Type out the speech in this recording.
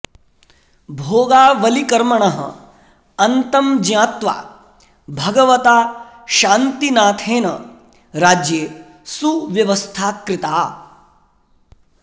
भोगावलिकर्मणः अन्तं ज्ञात्वा भगवता शान्तिनाथेन राज्ये सुव्यवस्था कृता